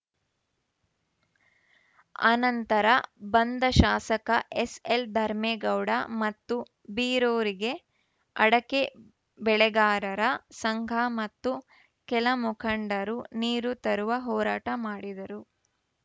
ಆನಂತರ ಬಂದ ಶಾಸಕ ಎಸ್‌ಎಲ್‌ ಧರ್ಮೆಗೌಡ ಮತ್ತು ಬೀರೂರಿಗೆ ಅಡಕೆ ಬೆಳೆಗಾರರ ಸಂಘ ಮತ್ತು ಕೆಲ ಮಖಂಡರು ನೀರು ತರುವ ಹೋರಾಟ ಮಾಡಿದರು